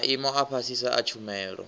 maimo a fhasisa a tshumelo